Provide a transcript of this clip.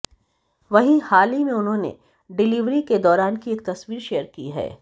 वहीं हाल ही में उन्होंने डिलीवरी के दौरान की एक तस्वीर शेयर की है